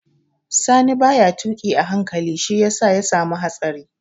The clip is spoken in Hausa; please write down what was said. Sani ba ya tuƙi a hankali shi ya sa ya samu hatsari